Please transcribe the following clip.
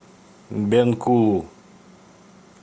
бенкулу